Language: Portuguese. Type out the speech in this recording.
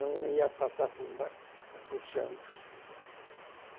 Não ia passar por por Santos.